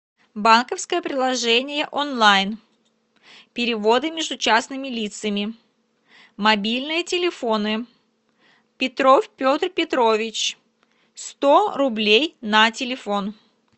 банковское приложение онлайн переводы между частными лицами мобильные телефоны петров петр петрович сто рублей на телефон